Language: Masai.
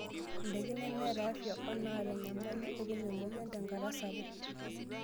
Ndaikin nemeeta afia onaata enyamali etum emoyian tenkata sapuk.